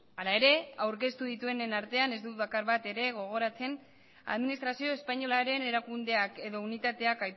hala ere aurkeztu dituenen artean ez dut bakar bat ere gogoratzen administrazio espainolaren erakundeak edo unitateak